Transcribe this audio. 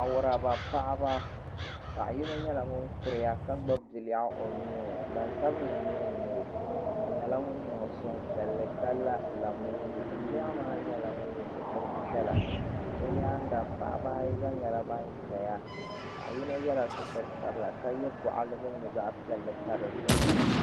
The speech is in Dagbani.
Awuraba paɣaba paɣa yino nyɛla ŋun kuriya ka gbibi biliaɣu o nuuni gbansabili nira n nyɛ o o nyɛla ŋun niŋ suhupiɛlli ka la lamushi biliaɣu maa yela sitiri piɛla o nyaanga paɣaba ayi gba nyɛla ban zaya paɣa yino yela sitiri sabila ka ye gɔɣali mini di zaɣa piɛlli pa dizuɣu.